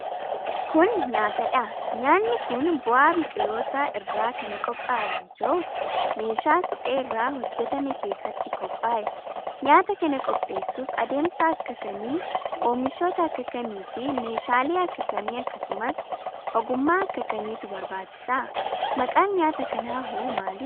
Kun, nyaata dha. Nyaanni kun bu'aa biqilootaa irraa kan qophaa'e yoo ta'u, meeshaa suphee irraa hojjatame keessatti qophaa'e. Nyaata kana qopheessuuf adeemsa akka kamii, oomishoota akka kamii fi meeshaalee akka kamii akkasumas ogummaa akka kamiitu barbaachisa? Maqaan nyaata kanaa hoo maali?